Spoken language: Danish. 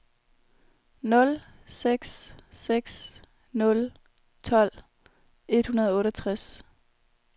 nul seks seks nul tolv et hundrede og otteogtres